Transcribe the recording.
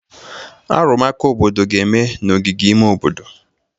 Arụmụka obodo ga-eme n'ogige ime obodo.